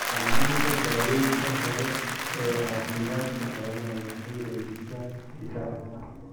Samaynta daawaynta hore ee caafimaadka xoolaha waxay xoojisaa difaaca.